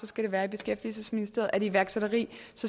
skal det være i beskæftigelsesministeriet og er det iværksætteri